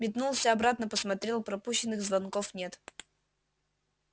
метнулся обратно посмотрел пропущенных звонков нет